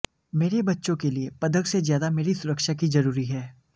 मेरे बच्चों के लिए पदक से ज्यादा मेरी सुरक्षा की जरूरी है